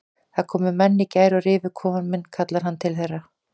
Það komu menn í gær og rifu kofann minn kallar hann til þeirra.